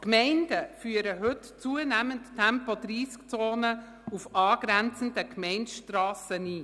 Die Gemeinden führen heute zunehmend Tempo-30-Zonen auf angrenzenden Gemeindestrassen ein.